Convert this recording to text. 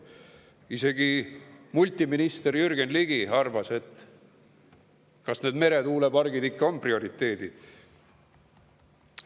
Isegi multiminister Jürgen Ligi on arvamust avaldanud, et kas need meretuulepargid ikka on prioriteedid.